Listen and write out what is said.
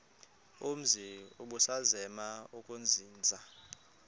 umzi ubusazema ukuzinza